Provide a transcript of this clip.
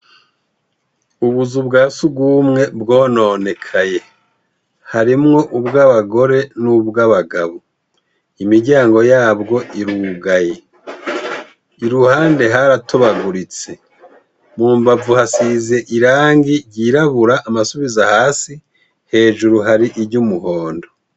Ubuzu bwasugume bwononekaye harimwo ubwabagore nubwabagabo imiryango yabwo irugaye iruhande haratobaguritse mumbavu hasize irangi ryirabura amasubiza hasi hejuru hari iryumuhondo